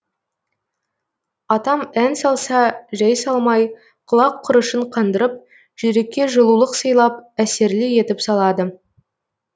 атам ән салса жай салмай құлақ құрышын қандырып жүрекке жылулық сыйлап әсерлі етіп салады